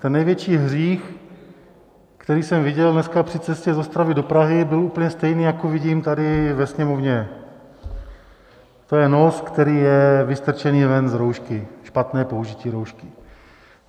Ten největší hřích, který jsem viděl dneska při cestě z Ostravy do Prahy, byl úplně stejný, jako vidím tady ve Sněmovně - to je nos, který je vystrčený ven z roušky, špatné použití roušky.